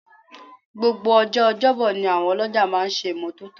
Gbogbo ọjọ́ ọjọ́bọ ni àwọn ọlọ́jà máa ń ṣe ìmọ́tótó